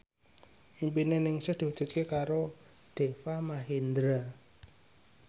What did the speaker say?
impine Ningsih diwujudke karo Deva Mahendra